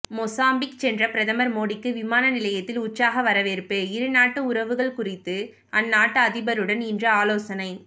Mozambique சென்ற பிரதமர் மோடிக்கு விமானநிலையத்தில் உற்சாக வரவேற்பு இருநாட்டு உறவுகள் குறித்து அந்நாட்டு அதிபருடன் இன்று ஆலோசனை